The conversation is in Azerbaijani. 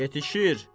Yetişir.